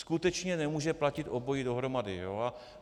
Skutečně nemůže platit obojí dohromady.